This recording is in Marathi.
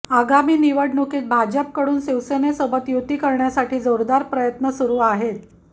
आगामी निवडणुकीत भाजपकडून शिवसेनेसोबत युती करण्यासाठी जोरदार प्रयत्न सुरु आहेत